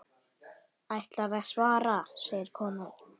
Ætlarðu að svara, segir konan.